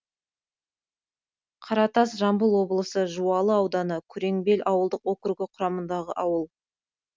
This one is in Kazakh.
қаратас жамбыл облысы жуалы ауданы күреңбел ауылдық округі құрамындағы ауыл